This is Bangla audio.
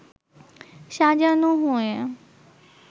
সাজানো হয়ে